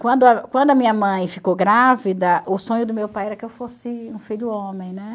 Quando a quando a minha mãe ficou grávida, o sonho do meu pai era que eu fosse um filho homem, né?